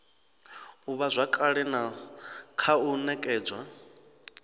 ivhazwakale na kha u nekedzwa